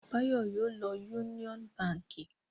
Báyọ̀ yóò lọ Union Báńkì!